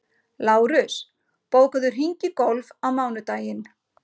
Lárus, bókaðu hring í golf á mánudaginn.